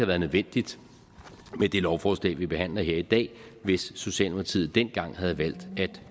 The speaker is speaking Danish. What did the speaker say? været nødvendigt med det lovforslag vi behandler her i dag og hvis socialdemokratiet dengang havde valgt at